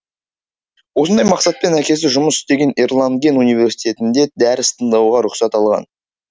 осындай мақсатпен әкесі жұмыс істеген эрланген университетінде дәріс тыңдауға рұқсат алған